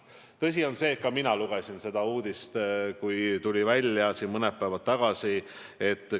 Tõsi on see, et ka mina lugesin seda uudist, kui see mõni päev tagasi välja tuli.